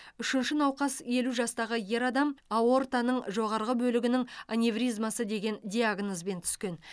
үшінші науқас елу жастағы ер адам аортаның жоғарғы бөлігінің аневризмасы деген диагнозбен түскен